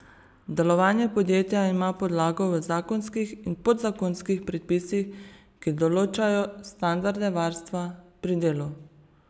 Delovanje podjetja ima podlago v zakonskih in podzakonskih predpisih, ki določajo standarde varstva pri delu.